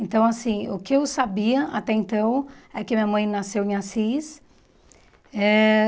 Então, assim, o que eu sabia até então é que minha mãe nasceu em Assis eh.